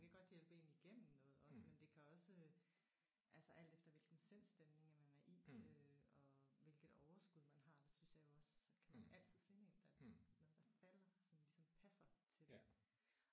Det kan godt hjælpe én igennem noget også men det kan også øh altså alt efter hvilken sindsstemning man er i øh og hvilket overskud man har der synes jeg jo også kan man altid finde én der taler sådan som ligesom passer til det